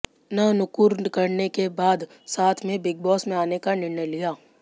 न नुकुर करने के बाद साथ में बिग बॉस में आने का निर्णय लिया